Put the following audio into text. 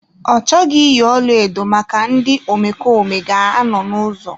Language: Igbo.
Ọ chọghị iyi ọlaedo maka ndị omekome ga anọ n'ụzọ.